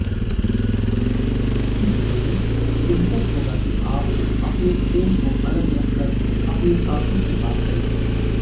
इसलिए बेहतर होगा कि आप अपने फोन को अलग रखकर अपने साथी से बात करें